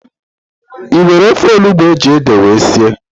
I nwere ofe onugbo ejiri édè wee sie?